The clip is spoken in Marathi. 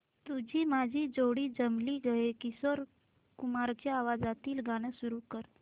तुझी माझी जोडी जमली गं हे किशोर कुमारांच्या आवाजातील गाणं सुरू कर